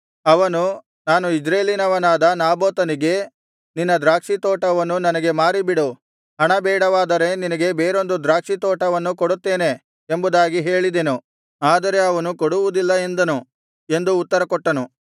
ಅವನು ನಾನು ಇಜ್ರೇಲಿನವನಾದ ನಾಬೋತನಿಗೆ ನಿನ್ನ ದ್ರಾಕ್ಷಿತೋಟವನ್ನು ನನಗೆ ಮಾರಿಬಿಡು ಹಣ ಬೇಡವಾದರೆ ನಿನಗೆ ಬೇರೊಂದು ದ್ರಾಕ್ಷಿತೋಟವನ್ನು ಕೊಡುತ್ತೇನೆ ಎಂಬುದಾಗಿ ಹೇಳಿದೆನು ಆದರೆ ಅವನು ಕೊಡುವುದಿಲ್ಲ ಎಂದನು ಎಂದು ಉತ್ತರಕೊಟ್ಟನು